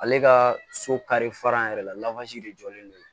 Ale ka so kari fara yɛrɛ la de jɔlen don